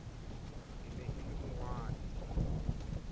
e ne e le monghadi